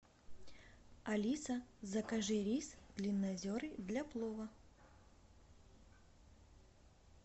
алиса закажи рис длиннозерный для плова